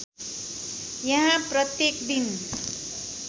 यहाँ प्रत्येक दिन